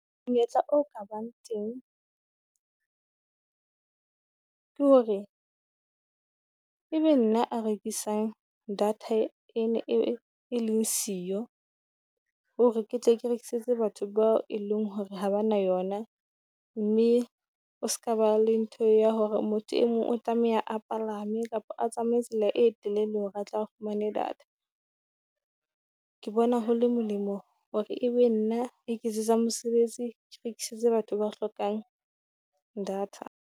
Monyetla o ka bang teng ke hore e be nna a rekisang data e leng siyo, hore ke tle ke rekisetse batho bao e leng hore ha ba na yona. Mme o se ka ba le ntho ya hore motho e mong o tlameha a palame kapa a tsamaye tsela e telele hore a tla fumane data. Ke bona ho le molemo hore e be nna a iketsetsang mosebetsi Ke rekisetse batho ba hlokang data.